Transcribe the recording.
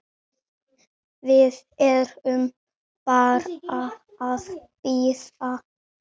Við erum bara að bíða.